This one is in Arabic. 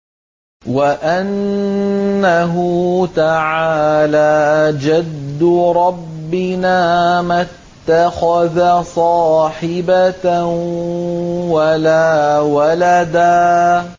وَأَنَّهُ تَعَالَىٰ جَدُّ رَبِّنَا مَا اتَّخَذَ صَاحِبَةً وَلَا وَلَدًا